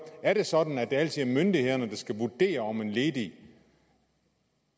er det sådan at det altid er myndighederne der skal vurdere om en ledig